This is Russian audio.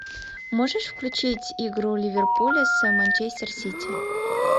можешь включить игру ливерпуля с манчестер сити